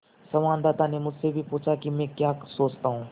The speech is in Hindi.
संवाददाता ने मुझसे भी पूछा कि मैं क्या सोचता हूँ